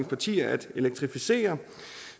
partier ønsker at elektrificere og